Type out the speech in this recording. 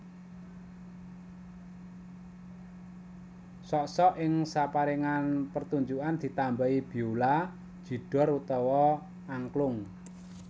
Sok sok ing sapérangan pertunjukan ditambahi biola jidor utawa angklung